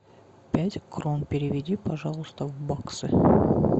пять крон переведи пожалуйста в баксы